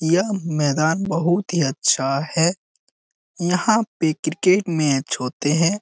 यह मैदान बहुत ही अच्छा है यहाँ पे क्रिकेट मैच होते हैं।